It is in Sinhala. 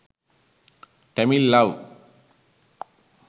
tamil love